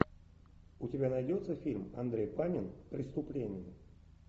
у тебя найдется фильм андрей панин преступление